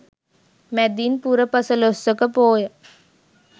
මැදින් පුර පසළොස්වක පෝය